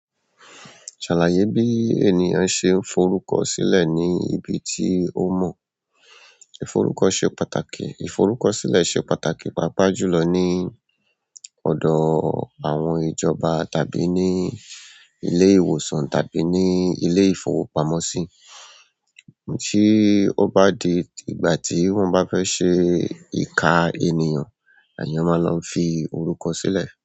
Ṣàlàyé bí ènìyàn ṣe ń forúkọ sílẹ̀ ní ibi tí ó mọ̀. Ìforúkọ ṣe pàtàkì, ìforúkọ sílẹ̀ ṣe pàtàkì pàápàá jùlọ ní ọ̀dọ̀ àwọn ìjọba tàbí ní ilé ìwòsàn tàbí ní ilé ìfọwọ́pamoṣí. Tí ó bá di ìgbà tí wọ́n bá fẹ́ ṣe ìka ènìyàn, èèyàn máa lọ fi orúkọ sílẹ̀.